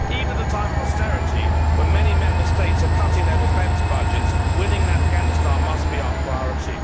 Even at a time of austerity, when many Member States are cutting their defence budgets, winning in Afghanistan must be our priority.